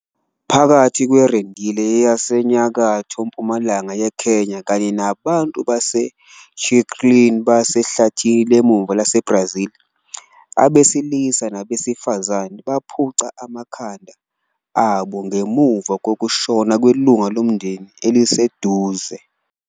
Phakathi kweRendille yasenyakatho-mpumalanga yeKenya kanye nabantu baseTchikrin basehlathini lemvula laseBrazil, abesilisa nabesifazane baphuca amakhanda abo ngemuva kokushona kwelungu lomndeni eliseduze.